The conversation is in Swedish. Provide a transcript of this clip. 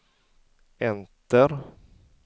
enter